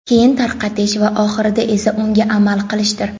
keyin tarqatish va oxirida esa unga amal qilishdir.